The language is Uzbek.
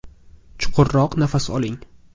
Chuqurroq nafas oling.